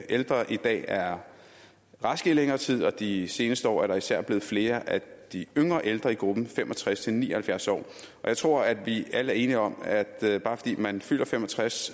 ældre i dag er raske i længere tid og i de seneste år er der især blevet flere af de yngre ældre i gruppen fem og tres til ni og halvfjerds år og jeg tror at vi alle er enige om at bare fordi man fylder fem og tres